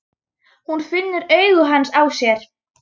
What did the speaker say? Hún finnur augu hans á sér.